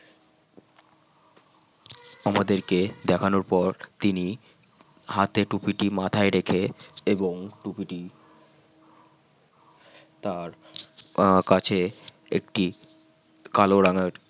আমাদেরকে দেখানোর পর তিনি হাতে টুপিটি মাথায় রেখে এবং টুপিটি তার আহ কাছে একটি কালো রঙের